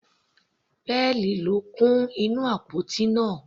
Pearl ló kún inú àpótí náà.